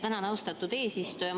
Tänan, austatud eesistuja!